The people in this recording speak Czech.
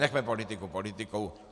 Nechme politiku politikou.